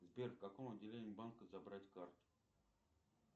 сбер в каком отделении банка забрать карту